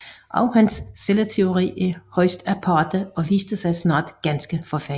Også hans celleteori er højst aparte og viste sig snart ganske forfejlet